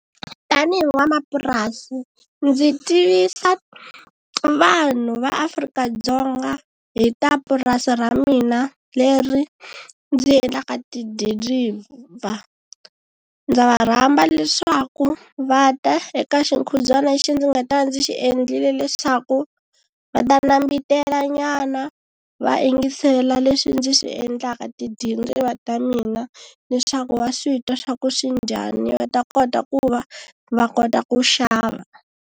Tani hi n'wanamapurasi ndzi tivisa vanhu va Afrika-Dzonga hi ta purasi ra mina leri ndzi endlaka tidiriva. Ndza va rhamba leswaku va ta eka xikhubyana lexi ndzi nga ta ndzi xi endlile leswaku va ta nambitelanyana va yingisela leswi ndzi swi endlaka tidiriva ta mina leswaku va swi twa swa ku swi njhani va ta kota ku va va kota ku xava.